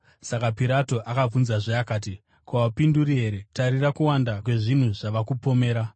Saka Pirato akabvunzazve akati, “Ko, haupinduri here? Tarira kuwanda kwezvinhu zvavanokupomera.”